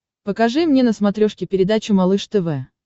покажи мне на смотрешке передачу малыш тв